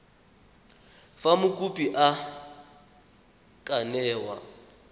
fa mokopi a ka newa